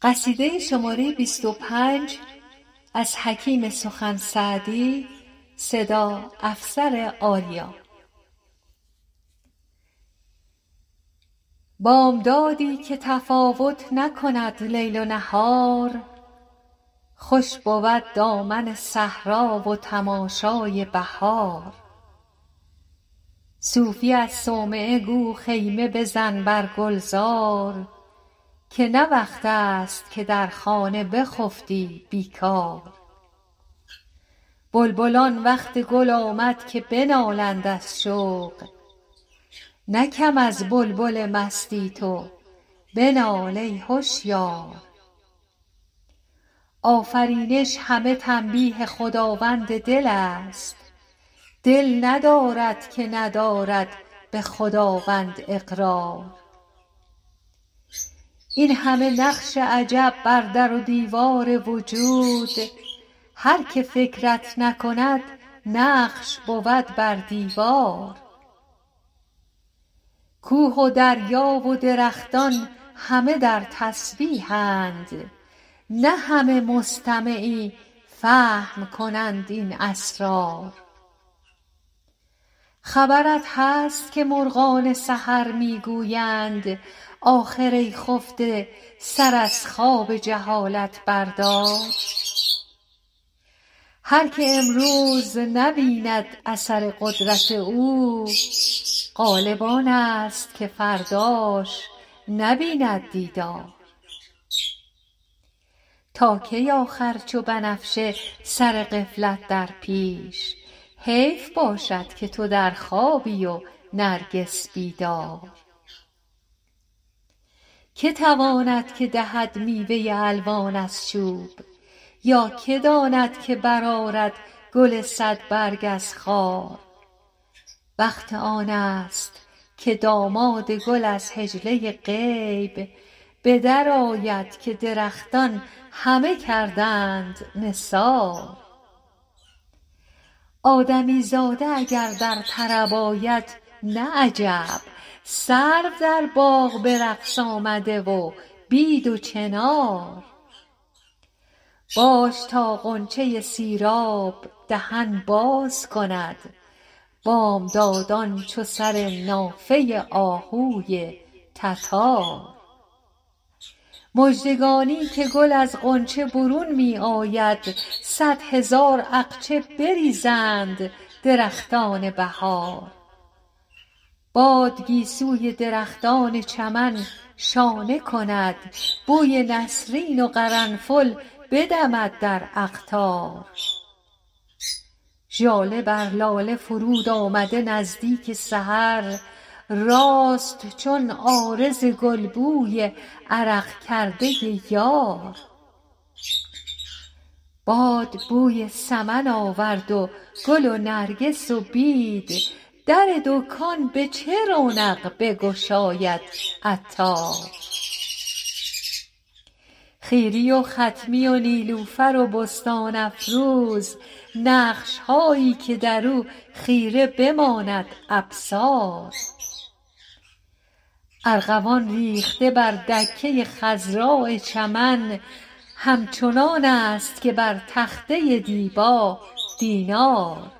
بامدادی که تفاوت نکند لیل و نهار خوش بود دامن صحرا و تماشای بهار صوفی از صومعه گو خیمه بزن بر گلزار که نه وقت است که در خانه بخفتی بیکار بلبلان وقت گل آمد که بنالند از شوق نه کم از بلبل مستی تو بنال ای هشیار آفرینش همه تنبیه خداوند دل ست دل ندارد که ندارد به خداوند اقرار این همه نقش عجب بر در و دیوار وجود هر که فکرت نکند نقش بود بر دیوار کوه و دریا و درختان همه در تسبیح اند نه همه مستمعی فهم کنند این اسرار خبرت هست که مرغان سحر می گویند آخر ای خفته سر از خواب جهالت بردار هر که امروز نبیند اثر قدرت او غالب آنست که فرداش نبیند دیدار تا کی آخر چو بنفشه سر غفلت در پیش حیف باشد که تو در خوابی و نرگس بیدار که تواند که دهد میوه الوان از چوب یا که داند که برآرد گل صد برگ از خار وقت آنست که داماد گل از حجله غیب به در آید که درختان همه کردند نثار آدمی زاده اگر در طرب آید نه عجب سرو در باغ به رقص آمده و بید و چنار باش تا غنچه سیراب دهن باز کند بامداد ان چو سر نافه آهوی تتار مژدگانی که گل از غنچه برون می آید صد هزار اقچه بریزند درختان بهار باد گیسوی درختان چمن شانه کند بوی نسرین و قرنفل بدمد در اقطار ژاله بر لاله فرود آمده نزدیک سحر راست چون عارض گل بوی عرق کرده یار باد بوی سمن آورد و گل و نرگس و بید در دکان به چه رونق بگشاید عطار خیری و خطمی و نیلوفر و بستان افروز نقش هایی که درو خیره بماند ابصار ارغوان ریخته بر دکه خضراء چمن همچنان ست که بر تخته دیبا دینار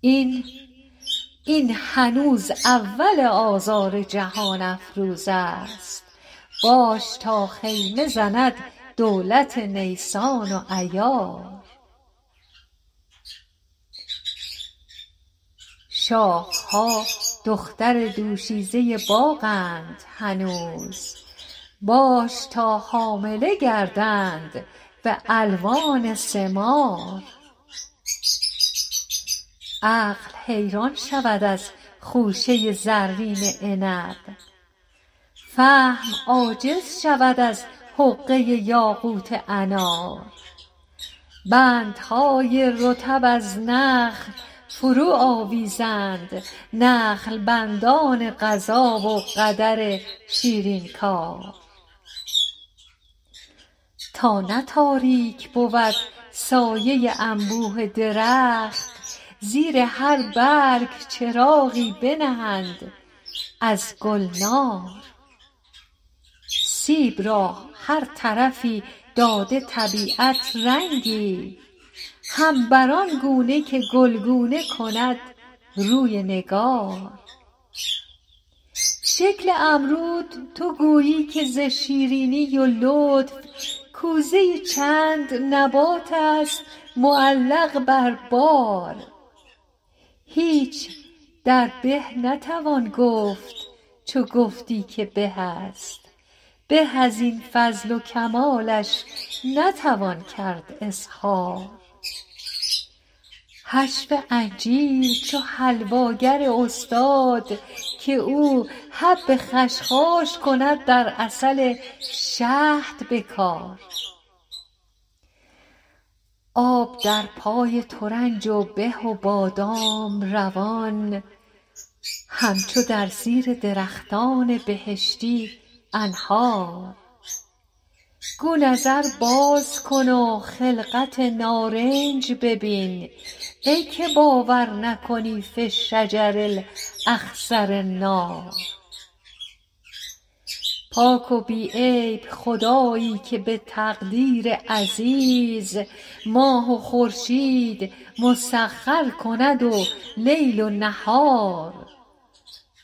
این هنوز اول آذار جهان افروزست باش تا خیمه زند دولت نیسان و ایار شاخ ها دختر دوشیزه باغ اند هنوز باش تا حامله گردند به الوان ثمار عقل حیران شود از خوشه زرین عنب فهم عاجز شود از حقه یاقوت انار بندهای رطب از نخل فرو آویزند نخل بند ان قضا و قدر شیرین کار تا نه تاریک بود سایه انبوه درخت زیر هر برگ چراغی بنهند از گلنار سیب را هر طرفی داده طبیعت رنگی هم بر آن گونه که گلگونه کند روی نگار شکل امرود تو گویی که ز شیرینی و لطف کوزه ای چند نبات است معلق بر بار هیچ در به نتوان گفت چو گفتی که به است به از این فضل و کمالش نتوان کرد اظهار حشو انجیر چو حلوا گر استاد که او حب خشخاش کند در عسل شهد به کار آب در پای ترنج و به و بادام روان همچو در زیر درختان بهشتی أنهار گو نظر باز کن و خلقت نارنج ببین ای که باور نکنی في الشجر الأخضر نار پاک و بی عیب خدایی که به تقدیر عزیز ماه و خورشید مسخر کند و لیل و نهار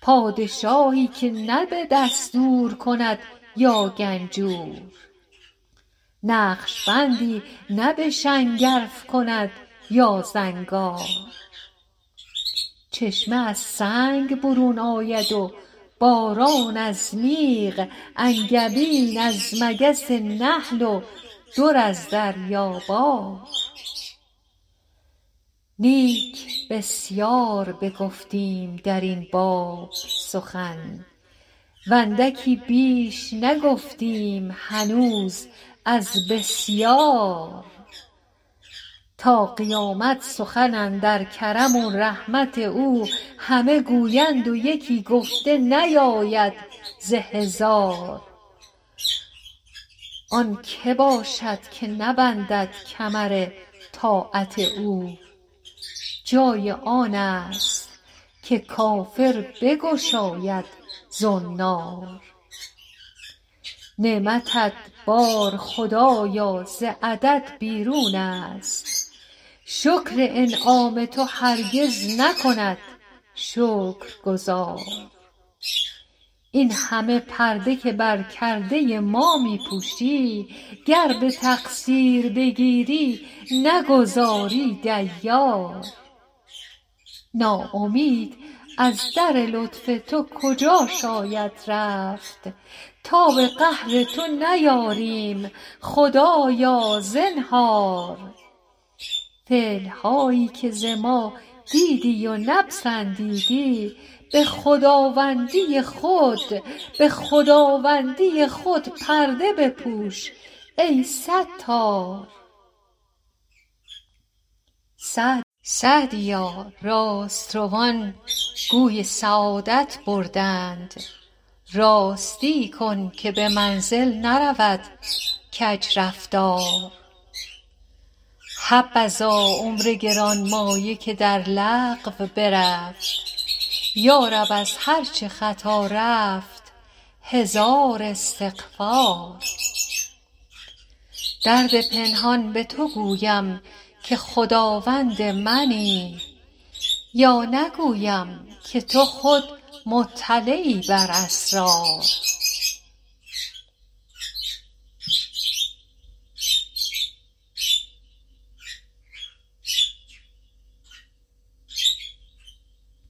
پادشاهی نه به دستور کند یا گنجور نقشبندی نه به شنگرف کند یا زنگار چشمه از سنگ برون آید و باران از میغ انگبین از مگس نحل و در از دریا بار نیک بسیار بگفتیم درین باب سخن و اندکی بیش نگفتیم هنوز از بسیار تا قیامت سخن اندر کرم و رحمت او همه گویند و یکی گفته نیاید ز هزار آن که باشد که نبندد کمر طاعت او جای آنست که کافر بگشاید زنار نعمتت بار خدایا ز عدد بیرون است شکر انعام تو هرگز نکند شکرگزار این همه پرده که بر کرده ما می پوشی گر به تقصیر بگیری نگذاری دیار ناامید از در لطف تو کجا شاید رفت تاب قهر تو نیاریم خدایا زنهار فعل هایی که ز ما دیدی و نپسندیدی به خداوندی خود پرده بپوش ای ستار سعدیا راست روان گوی سعادت بردند راستی کن که به منزل نرود کج رفتار حبذا عمر گرانمایه که در لغو برفت یارب از هر چه خطا رفت هزار استغفار درد پنهان به تو گویم که خداوند منی یا نگویم که تو خود مطلعی بر اسرار